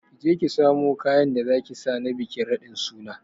Kije ki samu kayan da zaki saka na bikin raɗin suna